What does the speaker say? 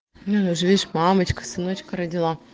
ну и же видишь мамочка сыночка родила